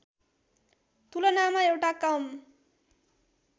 तुलनामा एउटा कम